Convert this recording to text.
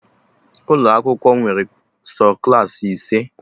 Ụlọ akwụkwọ nwere sọ Klassị ise